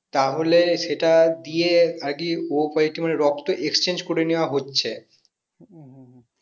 তাহোলে সেটা দিয়ে আরকি o positive মানে রক্ত exchange করে নিয়ে হচ্ছে